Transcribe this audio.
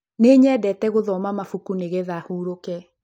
Nĩnyendete gũthoma mabuku nĩgetha hũruke